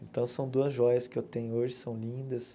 Então são duas joias que eu tenho hoje, são lindas.